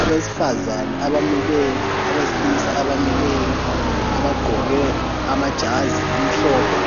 Abesifazana abamileyo abesilisa abamileyo abagqoke amajazi amhlophe